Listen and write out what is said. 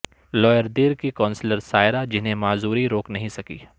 lower Dir کی councillor Saira جنھیں معذوری روک نہیں سکی